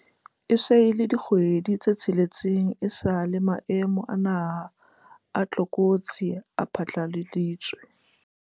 E se e le dikgwedi tse tsheletseng esale maemo a naha a tlokotsi a phatlaladitswe.